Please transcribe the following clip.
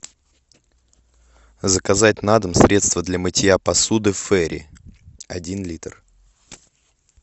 заказать на дом средство для мытья посуды ферри один литр